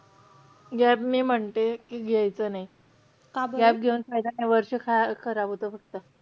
Gap मी म्हणते कि, घ्यायचा नाही. gap घेऊन फायदा नाही. वर्ष खा~ खराब होतो फक्त.